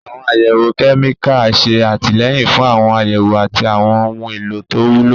Àwọn àyẹ̀wò kẹ́míkà ń ṣe àtìlẹ́yìn fún àwọn àyẹ̀wò àti àwọn ohun èlò tó wúlò.